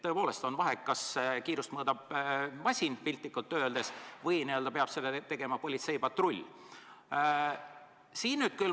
Tõepoolest on vahe, kas kiirust mõõdab masin, piltlikult öeldes, või peab seda tegema politseipatrull.